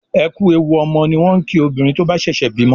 Ẹ ku èwù ọmọ ni wọn kí obìnrin tó ń bá sèsè bímo